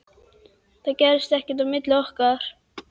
Það gerðist ekkert á milli okkar.